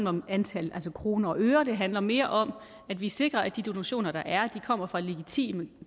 om antallet af kroner og øre det handler mere om at vi sikrer at de donationer der er kommer fra legitime